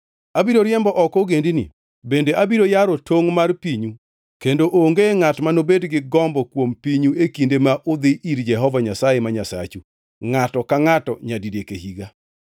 Abiro riembo oko ogendini bende abiro yaro tongʼ mar pinyu kendo onge ngʼat manobed gi gombo kuom pinyu e kinde ma udhi ir Jehova Nyasaye ma Nyasachu ngʼato ka ngʼato nyadidek e higa.